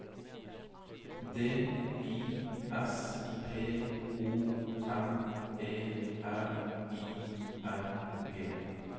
D I S P O N E R I N G